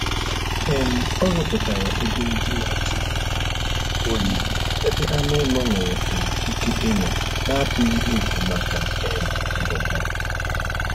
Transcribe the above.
um Ọ rụpụtara ebe ndina juru oyi ebe anụ ụlọ nwere um ike ịnọ na-atụghị egwu maka um ndụ ha